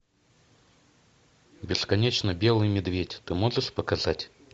бесконечно белый медведь ты можешь показать